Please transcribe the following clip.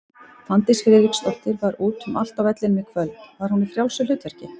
Fanndís Friðriksdóttir var út um allt á vellinum í kvöld, var hún í frjálsu hlutverki?